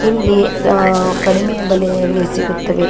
ಇಲ್ಲಿ ಆ ಕಡಿಮೆ ಬೆಲೆಯಲ್ಲಿ ಸಿಗುತ್ತದೆ.